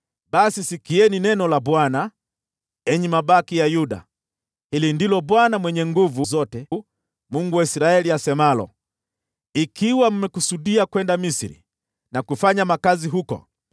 basi sikieni neno la Bwana , enyi mabaki ya Yuda. Hili ndilo Bwana Mwenye Nguvu Zote, Mungu wa Israeli, asemalo: ‘Ikiwa mmekusudia kwenda Misri na kufanya makazi huko,